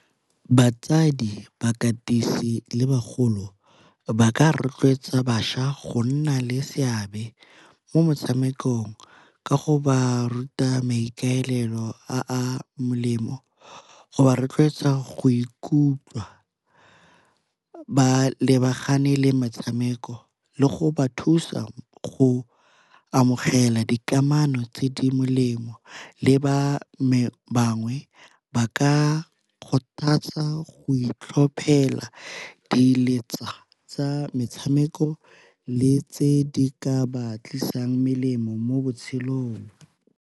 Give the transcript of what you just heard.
Batsadi, bakatisi le bagolo ba ka rotloetsa bašwa go nna le seabe mo motshamekong ka go ba ruta maikaelelo a a molemo, go ba rotloetsa go ikutlwa ba lebagane le metshameko le go ba thusa go amogela dikamano tse di molemo. Le ba bangwe ba ka kgothatsa go itlhophela di letsa tsa metshameko le tse di ka ba tlisang melemo mo botshelong.